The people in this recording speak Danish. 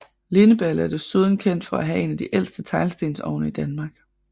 Lindeballe er desuden kendt for at have en af de ældste teglstensovne i Danmark